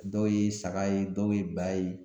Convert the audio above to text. Dɔw ye saga ye dɔw ye ba ye